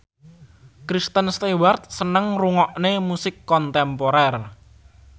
Kristen Stewart seneng ngrungokne musik kontemporer